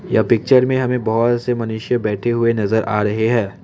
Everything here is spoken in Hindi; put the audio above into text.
यह पिक्चर में हमें बहोत से मनुष्य बैठे हुए नजर आ रहे हैं।